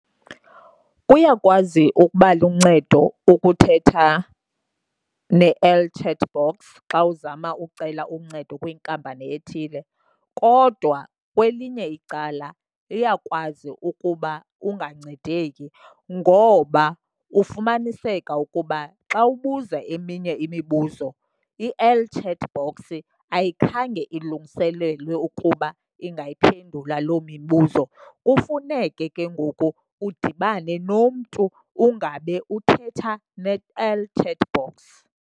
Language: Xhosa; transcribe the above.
Kuyakwazi ukuba luncedo ukuthetha ne-el chat box xa uzama ucela uncedo kwiinkampani ethile kodwa kwelinye icala iyakwazi ukuba ungancedeki ngoba ufumaniseka ukuba xa ubuza eminye imibuzo i-el chat bhoksi ayikhange ilungiselelwe ukuba ingayiphendula loo mibuzo. Kufuneke ke ngoku udibane nomntu ungabe uthetha ne-el chat box.